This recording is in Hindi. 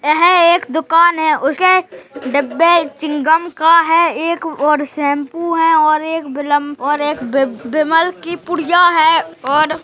यह एक दुकान है उसके डब्बे चिंगम का है एक और शेम्पू है और एक बिलम और एक बिमल की पुड़िया है और --